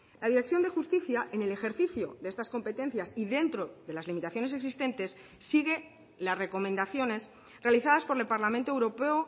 la dirección de justicia en el ejercicio de estas competencias y dentro de las limitaciones existentes sigue las recomendaciones realizadas por el parlamento europeo